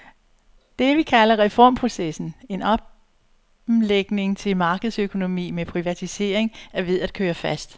Det, vi kalder reformprocessen, en omlægning til markedsøkonomi med privatisering, er ved at køre fast.